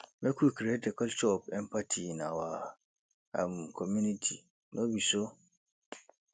make we create a culture of empathy in our um community no be so